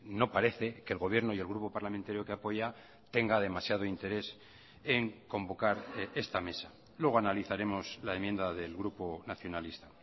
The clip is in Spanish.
no parece que el gobierno y el grupo parlamentario que apoya tenga demasiado interés en convocar esta mesa luego analizaremos la enmienda del grupo nacionalista